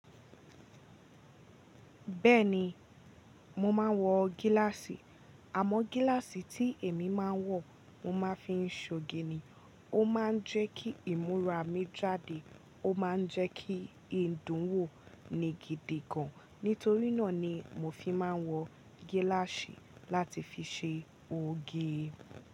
Bẹ́ẹ̀ni, mo máa ń wọ gíláàsì. Àmọ́ gíláàsì tí èmi máa ń wọ, mo máa fi ń ṣoge ni. Ó máa ń jẹ́ kí ìmúra mi jáde. Ó máa ń jẹ́ kí Ìdún wò ní gidi gan. Nítorí náà ni mo fi máa ń wọ gíláàsì láti fi ṣe oge.